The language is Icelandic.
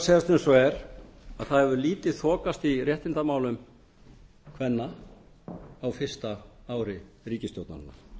eins og er að það hefur lítið þokast í réttindamálum kvenna á fyrsta ári ríkisstjórnarinnar